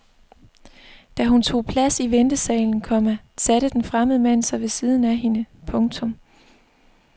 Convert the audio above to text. Da hun tog plads i ventesalen, komma satte den fremmede mand sig ved siden af hende. punktum